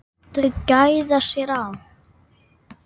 Þau gæða sér á